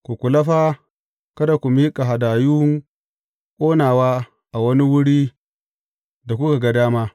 Ku kula fa kada ku miƙa hadayun ƙonawa a wani wurin da kuka ga dama.